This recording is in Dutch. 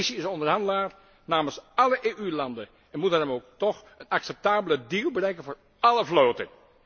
De Commissie is onderhandelaar namens álle EU landen en moet daarom toch een acceptabele deal bereiken voor álle vloten.